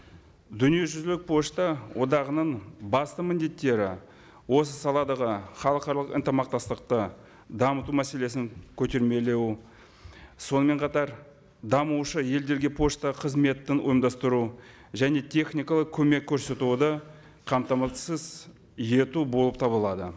дүниежүзілік пошта одағының басты міндеттері осы саладағы халықаралық ынтымақтастықты дамыту мәселесін көтермелеу сонымен қатар дамушы елдерге пошта қызметін ұйымдастыру және техникалық көмек көрсетуді қамтамасыз ету болып табылады